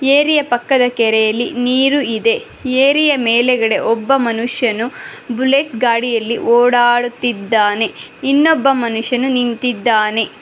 Area ಪಕ್ಕದ ಕೆರೆಯಲ್ಲಿ ನೀರು ಇದೆ ಏರಿಯ ಮೇಲ್ಗಡೆ ಒಬ್ಬ ಮನುಷ್ಯನು ಬುಲೆಟ್ ಗಾಡಿಯಲ್ಲಿ ಓಡಾಡುತ್ತಿದ್ದಾನೆ ಇನ್ನೊಬ್ಬ ಮನುಷ್ಯನು ನಿಂತಿದ್ದಾನೆ.